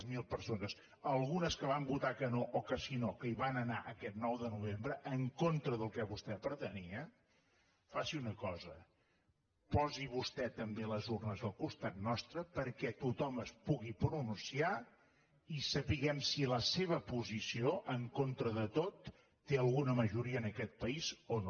zero persones algunes que van votar que no o que sí no que hi van anar aquest nou de novembre en contra del que vostè pretenia faci una cosa posi vostè també les urnes al costat nostre perquè tothom es pugui pronunciar i sapiguem si la seva posició en contra de tot té alguna majoria en aquest país o no